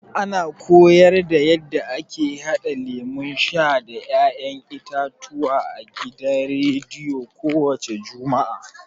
A na koyarda yanda ake haɗa lemun sha da ya'yan itatuwa a gidan rediyo ko wace juma'a.